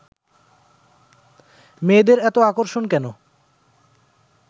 মেয়েদের এতো আকর্ষণ কেন